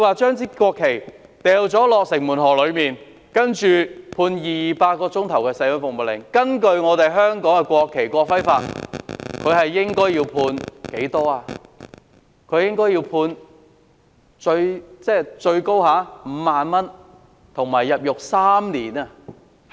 將國旗掉進城門河的犯事者被判200小時社會服務令，但根據香港《國旗及國徽條例》，此罪行的最高刑罰是罰款5萬元及入獄3年。